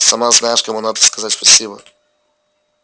сама знаешь кому надо сказать спасибо